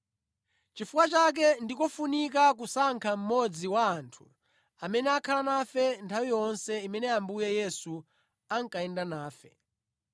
Chifukwa chake ndi kofunika kusankha mmodzi wa anthu amene akhala nafe nthawi yonse imene Ambuye Yesu ankayenda nafe,